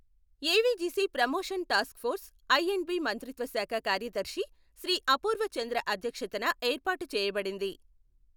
AVGC promotion task force I and B మంత్రిత్వ శాఖ కార్యదర్శి శ్రీ అపూర్వ చంద్ర అధ్యక్షతన ఏర్పాటు చేయబడింది.